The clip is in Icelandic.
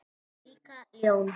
Líka ljón.